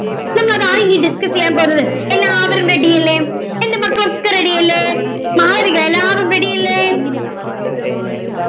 so അതാണ് ഇനി discuss ചെയ്യാൻ പോകുന്നത് എല്ലാവരും ready അല്ലേ എൻറെ മക്കളൊക്കെ ready യല്ലേ മാളവിക എല്ലാവരും ready യല്ലേ